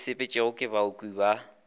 e sepetšwago ke baoki ba